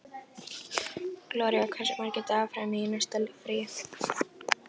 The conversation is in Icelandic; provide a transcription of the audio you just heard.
Gloría, hversu margir dagar fram að næsta fríi?